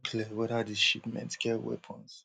clear weda dis shipments get weapons